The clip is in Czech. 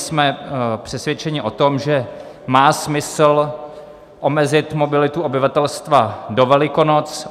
Jsme přesvědčeni o tom, že má smysl omezit mobilitu obyvatelstva do Velikonoc.